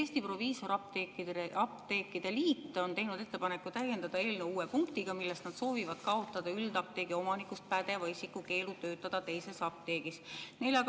Eesti Proviisorapteekide Liit on teinud ettepaneku täiendada eelnõu uue punktiga, milles nad soovivad kaotada üldapteegi omanikust pädeva isiku keelu töötada teises apteegis.